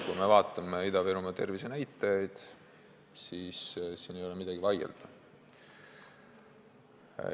Kui me vaatame Ida-Virumaa tervisenäitajaid, siis siin ei ole midagi vaielda.